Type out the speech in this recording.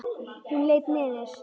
Hún leit niður.